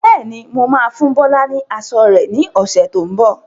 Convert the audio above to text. Bẹ́ẹ̀ni, mo máa fún Bọlá ni aṣọ rẹ ni ọ̀sẹ̀ tó ń bọ̀.